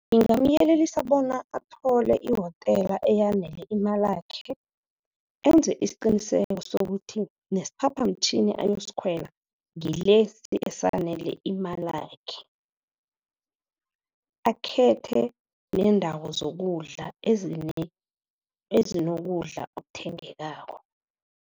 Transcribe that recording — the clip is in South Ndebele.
Ngingamyelelisa bona athole i-hotel eyanele imalakhe, enze isiqiniseko sokuthi nesiphaphamtjhini ayosikhwela ngilesi esanele imalakhe. Akhethe neendawo zokudla ezinokudla okuthengekako.